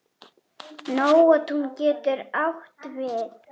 Nóatún getur átt við